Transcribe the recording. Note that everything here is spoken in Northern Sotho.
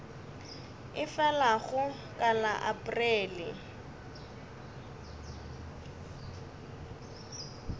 e felago ka la aprele